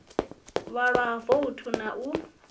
vhalwa ha voutu na u